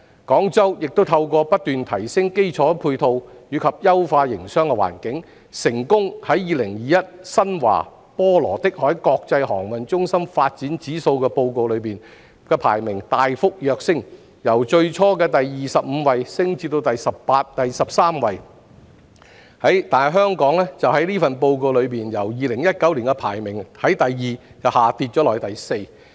廣州亦已透過不斷提升基礎配套及優化營商環境，成功在2021《新華.波羅的海國際航運中心發展指數報告》中的排名大幅躍升，由最初的第二十五位升至第十三位，但香港在該份報告的排名已從2019年的第二位跌至第四位。